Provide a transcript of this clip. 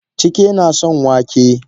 Chike nason wake.